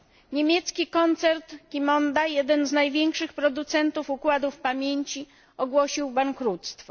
Niemiecki koncern Qimonda, jeden z największych producentów układów pamięci, ogłosił bankructwo.